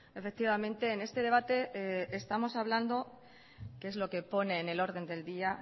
efectivamente en este debate estamos hablando que es lo que pone en el orden del día